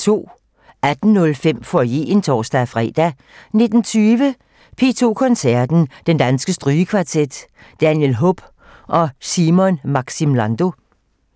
18:05: Foyeren (tor-fre) 19:20: P2 Koncerten - Den Danske Strygekvartet, Daniel Hope og Simon Maxim Lando